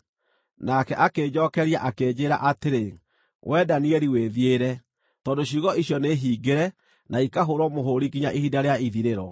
Nake akĩnjookeria, akĩnjĩĩra atĩrĩ, “Wee Danieli wĩthiĩre, tondũ ciugo icio nĩhingĩre na ikahũũrwo mũhũũri nginya ihinda rĩa ithirĩro.